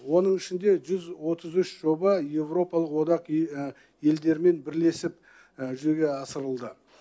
оның ішінде жүз отыз үш жоба еуропалық одақ елдерімен бірлесіп жүзеге асырылды